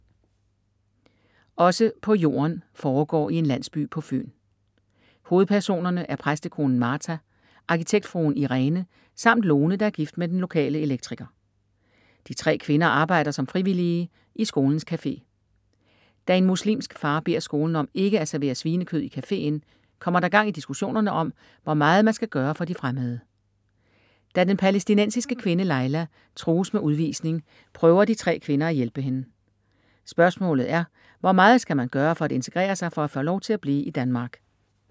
Også på jorden foregår i en landsby på Fyn. Hovedpersonerne er præstekonen Martha, arkitektfruen Irene samt Lone, der er gift med den lokale elektriker. De tre kvinder arbejder som frivillige i skolens café. Da en muslimsk far beder skolen om ikke at servere svinekød i caféen, kommer der gang i diskussionerne om, hvor meget man skal gøre for de ”fremmede”. Da den palæstinensiske kvinde, Layla, trues med udvisning, prøver de tre kvinder at hjælpe hende. Spørgsmålet er: Hvor meget skal man gøre for at integrere sig for at for at få lov til at blive i Danmark?